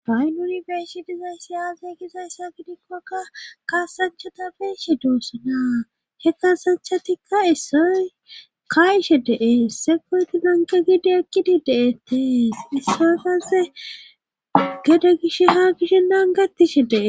baynuni beeshi dizayssi aaze gizayssa gidikkokka kaasanchata beeshe doossanaa he kaasanchatikka issoy kaayishe dee seqoyti nanqe gidi ekkidi deetee issoy haase gede gish ha gishennangetishe dee